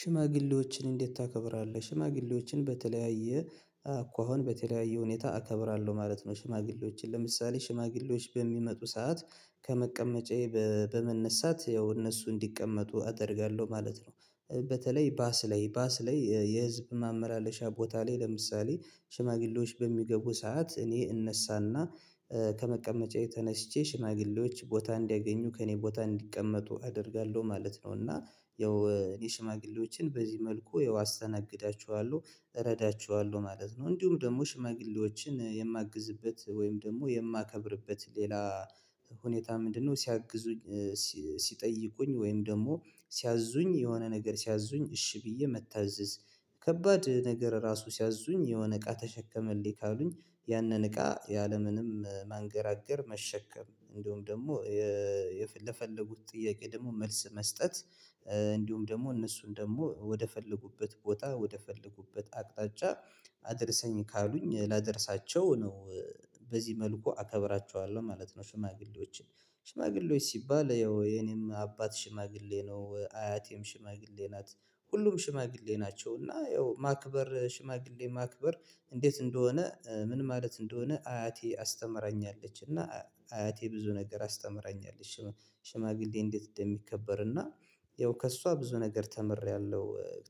ሽማግሌዎችን እንዴት ታከብራለህ? ሽማግሌዎችን በተለያየ አኳኋን በተለያየ ሁኔታ አከብራለሁ ማለት ነው ሽማግሌዎችን ለምሳሌ ሽማግሌዎች በሚመጡ ሰዓት ከመቀመጫዬ በመነሳት ያው እነሱ እንዲቀመጡ አደርጋለሁ ማለት ነው። በተለይ ባስ ላይ ባስ ላይ፤ የህዝብ ማመላለሻ ቦታ ላይ ለምሳሌ ሽማግሌዎች በሚገቡ ሰዓት እኔ እነሳና ከመቀመጫዬ ተነስቼ ሽማግሌዎች ቦታ እንዲያገኙ፤ ከእኔ ቦታ እንዲቀመጡ፤ አደርጋለሁ ማለት ነው እና ያው የሽማግሌዎችን በዚህ መልኩ ያው ተነግዳችኋለሁ እረዳችኋለሁ ማለት ነው። እንዲሁም ደግሞ ሽማግለዎችን የማግዝበት ወይም ደግሞ የማከብርበት ሌላ ሁኔታ ምንድነው? ስያግዙኝ ስጠይቁኝ ወይም ደግሞ ስያዚዙኝ የሆነ ነገር ሲያዙኝ እሽ ብዬ መታዘዝ። ከባድ ነገር ራሱ ስያዚዙኝ የሆነ እቃ ተሸከመልኝ ካሉኝ፤ ያንን እቃ ያለምንም ማንገራገር፤ መሸከም እንዲሁም ደግሞ ለፈለጉት ጥያቄ ደግሞ መልስ መስጠት፤ እንዲሁም ደግሞ እነሱን ደግሞ ወደፈለጉበት ቦታ ወደፈለጉበት አቅጣጫ አድርሰኝ ካሉኝ ላደርሳቸው ነው። በዚህ መልኩ አከብራቸዋለሁ ማለት ነው። ሽማግሌዎችን ሽማግሌዎች ስባል ያው የኔም አባት ሽማግሌ ነው፤ አያቴም ሽማግሌ ናት ሁሉም ሽማግሌ ናቸው እና ያው ማክበር ሽማግሌ ማክበር እንዴት እንደሆነ ምን ማለት እንደሆነ አያቴ አስተምራኛለች እና አያቴ ብዙ ነገር አስተምራኛለች። ሽማግሌ፤ እንዴት እንደሚከበር እና ያው ከእሷ ብዙ ነገር ተምሬያለሁ፤